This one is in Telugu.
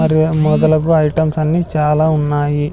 మరియు మొదలగు ఐటమ్స్ అన్ని చాలా ఉన్నాయి.